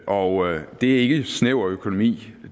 og det er ikke snæver økonomi